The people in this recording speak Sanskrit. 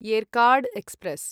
येर्काड् एक्स्प्रेस्